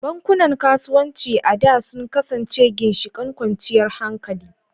Bankunan kasuwanci a da sun kasance ginshiƙan kwanciyar hankali.